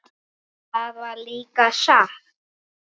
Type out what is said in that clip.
Það var líka satt.